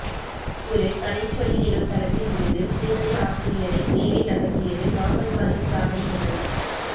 ஒரு கதை சொல்லி என்னும் தளத்தில் இருந்த சிறுகதை ஆசிரியனை மேலே நகர்த்தியது மாப்பஸானின் சாதனை எனலாம்